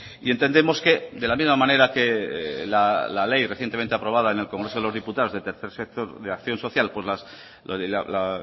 y entendemos que de la misma manera que la ley recientemente aprobada en el congreso de los diputados del tercer sector de acción social con la